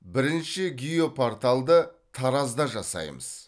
бірінші геопорталды таразда жасаймыз